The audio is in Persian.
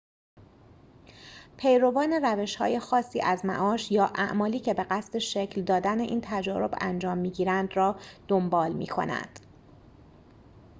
پیروان روش‌های خاصی از معاش یا اعمالی که به قصد شکل دادن این تجارب انجام می‌گیرند را دنبال می‌کنند